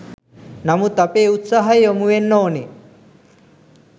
නමුත් අපේ උත්සාහය යොමු වෙන්න ඕනේ